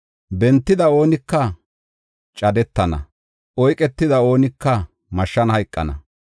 Bentida oonika cadetana; oyketida oonika mashshan hayqana.